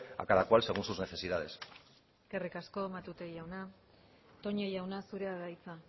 a cada cual según sus necesidades eskerrik asko matute jauna toña jauna zurea da hitza